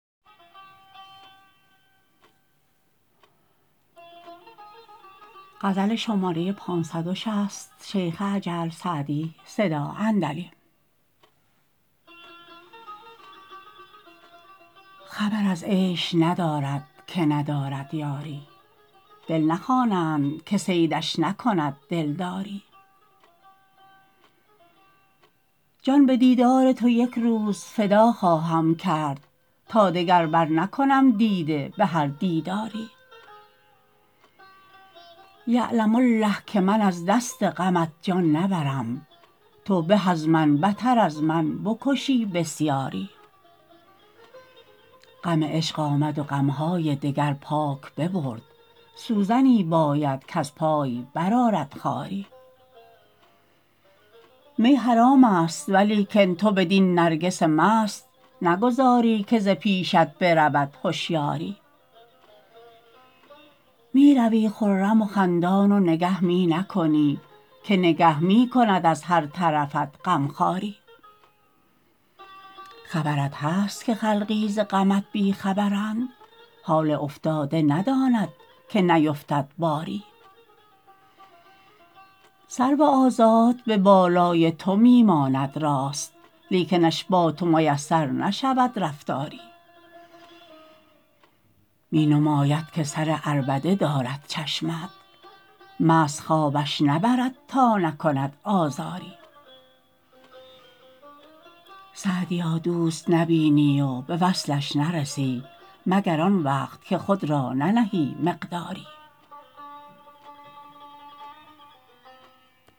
خبر از عیش ندارد که ندارد یاری دل نخوانند که صیدش نکند دلداری جان به دیدار تو یک روز فدا خواهم کرد تا دگر برنکنم دیده به هر دیداری یعلم الله که من از دست غمت جان نبرم تو به از من بتر از من بکشی بسیاری غم عشق آمد و غم های دگر پاک ببرد سوزنی باید کز پای برآرد خاری می حرام است ولیکن تو بدین نرگس مست نگذاری که ز پیشت برود هشیاری می روی خرم و خندان و نگه می نکنی که نگه می کند از هر طرفت غم خواری خبرت هست که خلقی ز غمت بی خبرند حال افتاده نداند که نیفتد باری سرو آزاد به بالای تو می ماند راست لیکنش با تو میسر نشود رفتاری می نماید که سر عربده دارد چشمت مست خوابش نبرد تا نکند آزاری سعدیا دوست نبینی و به وصلش نرسی مگر آن وقت که خود را ننهی مقداری